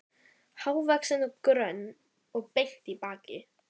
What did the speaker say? Hávaxin og grönn og bein í baki.